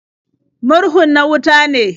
Murhun na wuta ne.